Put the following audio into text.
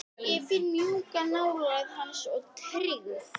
Ég finn mjúka nálægð hans og tryggð.